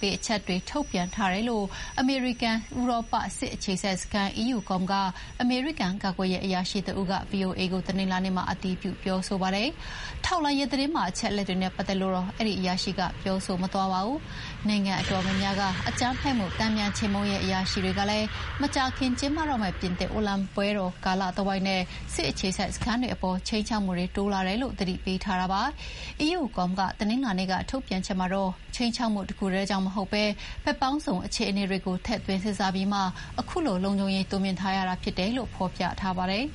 ပေးချက်တွေထုတ်ပြန်ထားတယ်လို့ အမေရိကန်-ဥရောပ စစ်အခြေစိုက်စခန်း EUCOM ကအမေရိကန် ကာကွယ်ရေးအရာရှိတဦးက ဗွီအိုအေကို တနင်္လာနေ့မှာ အတည်ပြုပြောဆိုပါတယ်။ ထောက်လှမ်းရေးသတင်းပါအချက်တွေနဲ့ပတ်သက်လို့တော့ အဲဒီအရာရှိက ပြောမသွားပါဘူး။ နိုင်ငံအတော်များများက အကြမ်းဖက်မှုတန်ပြန်ခြေမှုန်းရေးအရာရှိတွေကလည်း မကြာခင်ကျင်းပတော့မယ့် ပြင်သစ်အိုလံပစ်ပွဲတော်ကာလတဝိုက်နဲ့ စစ်အခြေစိုက်စခန်းတွေအပေါ် ခြိမ်းခြောက်မှုတွေတိုးလာတယ်လို့ သတိပေးထားတာပါ။ EUCOM က တနင်္လာနေ့ထုတ်ပြန်ချက်မှာတော့ ခြိမ်းခြောက်မှုတခုတည်းကြောင့်မဟုတ်ဘဲ ဘက်ပေါင်းစုံအခြေအနေတွေကိုထည့်သွင်းစဥ်းစားပြီးမှ ခုလို လုံခြုံရေးတိုးမြှင့်ထားရတာဖြစ်တယ်လို့ ဖော်ပြထားပါတယ်